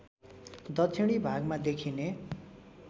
दक्षिणी भागमा देखिने